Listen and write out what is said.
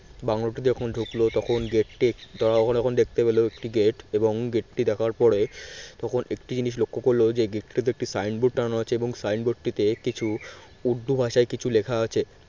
bungalow তে যখন ঢুকলো তখন gate টি তারা যখন দেখতে পেল একটি gate এবং gate টি দেখার পরে তখন একটি জিনিস লক্ষ্য করল যে gate একটি sign board টাঙানো আছে এবং sign board টিতে কিছু উর্দু ভাষায় কিছু লেখা আছে